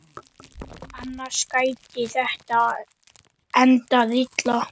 Annars gæti þetta endað illa.